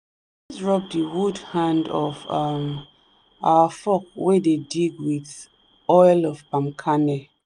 rub the wood hand of um our fork wey dey dig with oil of palm kernel